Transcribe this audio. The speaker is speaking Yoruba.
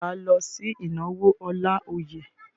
Ṣé wà á lọ sí ìnáwó Ọláoyè?